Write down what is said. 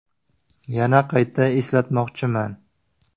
Yana qayta eslatmoqchiman.